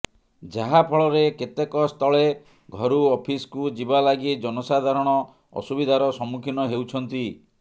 ଯାହାଫଳରେ କେତେକ ସ୍ଥଳେ ଘରୁ ଅଫିସକୁ ଯିବା ଲାଗି ଜନସାଧାରଣ ଅସୁବିଧାର ସମ୍ମୁଖୀନ ହେଉଛନ୍ତି